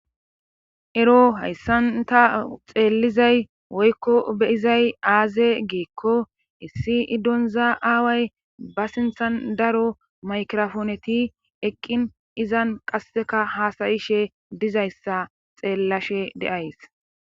ero hayssan ta xeellizay woykko beyizay aaze geekko issi donza aaway ba sinthan daro maykrofooneti eqqin izan qasseka haasayishe dizayssa xeellashe deays